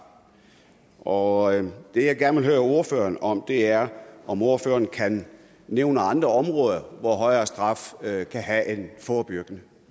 og det jeg gerne vil spørge ordføreren om er om ordføreren kan nævne andre områder hvor højere straf kan have en forebyggende